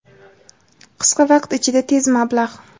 Qisqa vaqt ichida tez mablag‘.